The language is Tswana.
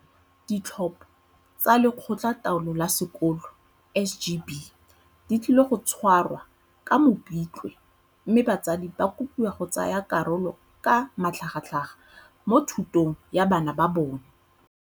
Ditlhopho tsa Lekgotla taolo la Sekolo, SGB, di tlile go tshwarwa ka Mopitlwe mme batsadi ba kopiwa go tsaya karolo ka matlhagatlhaga mo thutong ya bana ba bona.